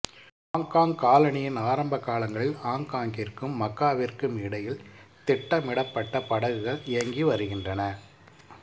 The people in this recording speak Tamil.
ஆங்காங் காலனியின் ஆரம்ப காலங்களில் ஆங்காங்கிற்கும் மக்காவிற்கும் இடையில் திட்டமிடப்பட்ட படகுகள் இயங்கி வருகின்றன